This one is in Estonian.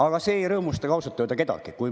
Aga see ei rõõmusta ka ausalt öelda kedagi.